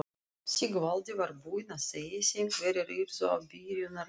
Sigvaldi var búinn að segja þeim hverjir yrðu í byrjunarliðinu.